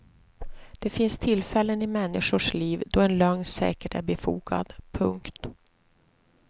Det finns tillfällen i människors liv då en lögn säkert är befogad. punkt